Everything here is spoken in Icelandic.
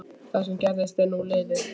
Það sem gerðist er nú liðið.